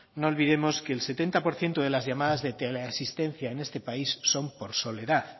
no olvidemos que el setenta por ciento de las llamadas de teleasistencia en este país son por soledad